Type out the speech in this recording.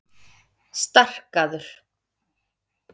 Starkaður